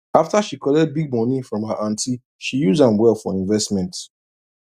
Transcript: after she collect big money from her aunty she use am well for investment